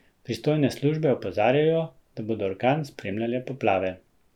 Pristojne službe opozarjajo, da bodo orkan spremljale poplave.